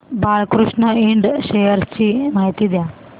Balkrishna Ind shares ची माहिती द्या